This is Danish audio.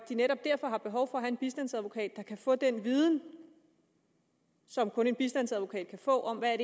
de netop derfor har behov for at have en bistandsadvokat der kan få den viden som kun en bistandsadvokat kan få om hvad